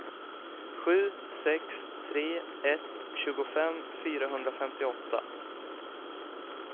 sju sex tre ett tjugofem fyrahundrafemtioåtta